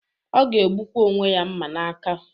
O ga-egbukwa onwe ya mma n'aka.